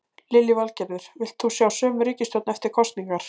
Lillý Valgerður: Vilt þú sjá sömu ríkisstjórn eftir kosningar?